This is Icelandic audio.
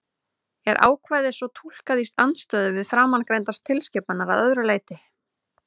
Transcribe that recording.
Er ákvæðið svo túlkað í andstöðu við framangreindar tilskipanir að öðru leyti?